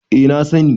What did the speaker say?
eh na sani